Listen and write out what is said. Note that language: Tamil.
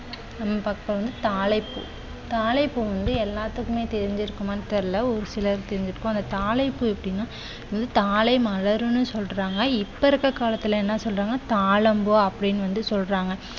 நம்ம பார்க்க போறது வந்து தாளைப் பூ, தாளைப் பூ வந்து எல்லாத்துக்குமே தெரிஞ்சிருக்குமான்னு தெரியவில்லை. ஒரு சிலருக்கு தெரிஞ்சிருக்கும். அந்த தாளைப் பூ எப்படின்னா தாளை மலர்னு சொல்றாங்க. இப்போ இருக்கிற காலத்துல என்ன சொல்றாங்க தாழம் பூ அப்படின்னு வந்து சொல்றாங்க.